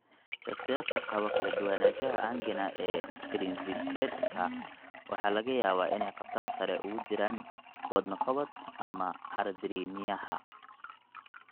Shakhsiyaadka qaba kala duwanaanshaha angina ee Prinzbiredka waxa laga yaabaa inay khatar sare ugu jiraan wadno qabad ama arrhythmiayaha.